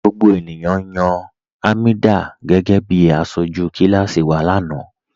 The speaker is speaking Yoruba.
Gbogbo ènìyàn yan Hameedah gẹgẹ̀bí àṣọju kilasi wa lana